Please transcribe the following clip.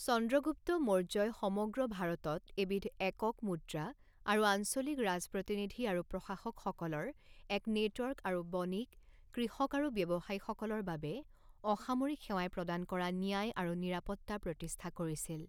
চন্দ্ৰগুপ্ত মৌৰ্যই সমগ্ৰ ভাৰতত এবিধ একক মুদ্ৰা, আৰু আঞ্চলিক ৰাজপ্ৰতিনিধি আৰু প্ৰশাসকসকলৰ এক নেটৱৰ্ক আৰু বণিক, কৃষক আৰু ব্যৱসায়ীসকলৰ বাবে অসামৰিক সেৱাই প্ৰদান কৰা ন্যায় আৰু নিৰাপত্তা প্ৰতিষ্ঠা কৰিছিল।